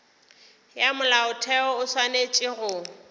ya molaotheo o swanetše go